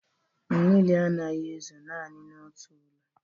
Mmiri anaghị ezo naanị n'otu ụlọ.